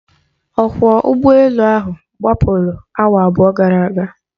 Ọkwọ ụgbọ elu ahụ gbapụrụ awa abụọ gara aga.